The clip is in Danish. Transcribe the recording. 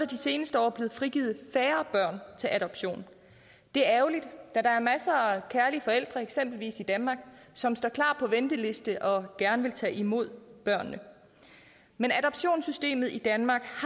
de seneste år blevet frigivet færre børn til adoption det er ærgerligt da der er masser af kærlige forældre eksempelvis i danmark som står på venteliste og er og gerne vil tage imod børnene men adoptionssystemet i danmark